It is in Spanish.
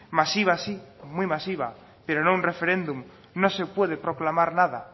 masiva sí muy masiva pero no un referéndum no se puede proclamar nada